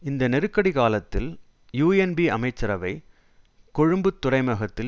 இந்த நெருக்கடி காலத்தில் யூஎன்பி அமைச்சரவை கொழும்புத் துறைமுகத்தில்